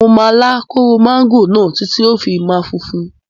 Mo máa lá kóró máńgò náà títí tí ó fi máa funfun.